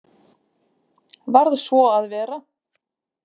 Varð svo að vera.